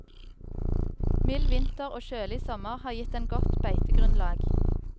Mild vinter og kjølig sommer har gitt den et godt beitegrunnlag.